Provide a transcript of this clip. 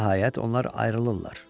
Nəhayət onlar ayrılırlar.